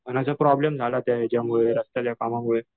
पण असा ते प्रॉब्लेम झाला ते याच्यामुळे रस्त्याच्या कामामुळे.